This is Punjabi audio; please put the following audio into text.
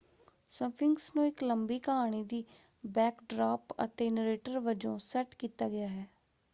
ਸਫਿੰਕਸ ਨੂੰ ਇੱਕ ਲੰਬੀ ਕਹਾਣੀ ਦੀ ਬੈਕਡਰਾਪ ਅਤੇ ਨਰੇਟਰ ਵਜੋਂ ਸੈੱਟ ਕੀਤਾ ਗਿਆ ਹੈ।